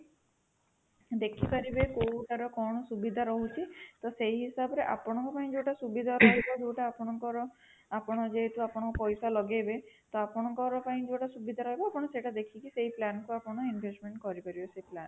ଦେଖିପାରିବେ କୋଉଟା ର କଣ ସୁବିଧା ରହୁଛି ତ ସେହି ହିସାବରେ ଆପଣଙ୍କ ପାଇଁ ଯୋଉଟା ସୁବିଧା ରହିବ ଯୋଉଟା ଆପଣଙ୍କର ଆପଣ ଯେହେତୁ ଆପଣଙ୍କର ପଇସା ଲଗେଇବେ ତ ଆପଣଙ୍କ ପାଇଁ ଯୋଉଟା ସୁବିଧା ରହିବ ଆପଣ ସେଟା ଦେଖିକି ସେହି plan କୁ ଆପଣ investment କରିପାରିବେ ସେହି plan ରେ